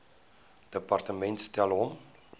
departement stel hom